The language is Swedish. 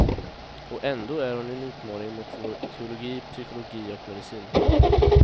Och ändå är hon en utmaning mot vår teologi, psykologi och medicin.